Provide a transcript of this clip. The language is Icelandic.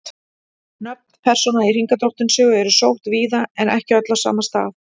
Nöfn persóna í Hringadróttinssögu eru sótt víða en ekki öll á sama stað.